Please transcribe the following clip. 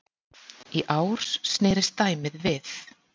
Í ár snerist dæmið við.